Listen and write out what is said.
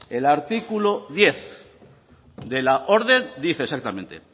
el artículo diez de la orden dice exactamente